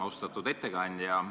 Austatud ettekandja!